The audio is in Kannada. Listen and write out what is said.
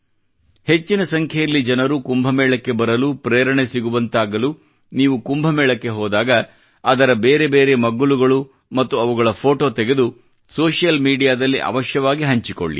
ಹೆಚ್ಹಿನ ಸಂಖ್ಯೆಯಲ್ಲಿ ಜನರು ಕುಂಭ ಮೇಳಕ್ಕೆ ಬರಲು ಪ್ರೇರಣೆ ಸಿಗುವಂತಾಗಲು ನೀವು ಕುಂಭ ಮೇಳಕ್ಕೆ ಹೋದಾಗ ಅದರ ಬೇರೆ ಬೇರೆ ಮಗ್ಗುಲುಗಳು ಮತ್ತು ಅವುಗಳ ಫೋಟೋ ತೆಗೆದು ಸೋಶಿಯಲ್ ಮೀಡಿಯಾದಲ್ಲಿ ಅವಶ್ಯವಾಗಿ ಹಂಚಿಕೊಳ್ಳಿ